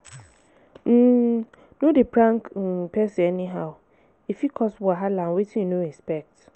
um No de prank um persin anyhow e fit cause wahala and wetin and wetin you no expect